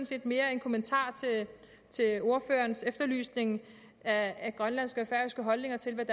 set mere en kommentar til ordførerens efterlysning af grønlandske og færøske holdninger til